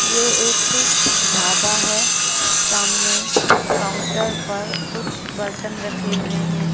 यह एक ढाबा है सामने काउंटर पर कुछ बर्तन रखे हुए हैं।